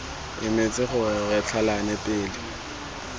emetse gore re tlhalane pele